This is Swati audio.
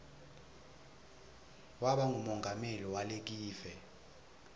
waba ngumongameli walekive